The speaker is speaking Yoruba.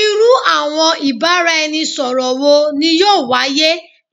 Iru awọn ibaraẹnisọrọ wo ni yoo waye